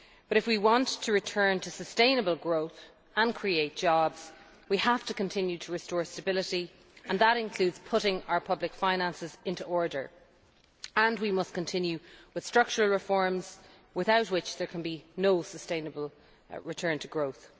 If we want to return to sustainable growth, and create jobs, we have to continue to restore stability, and that includes putting our public finances in order. We must continue with structural reform, without which there can be no sustainable return to growth.